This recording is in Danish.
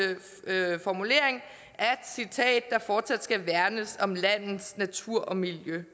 formulering at citat der fortsat skal værnes om landets natur og miljø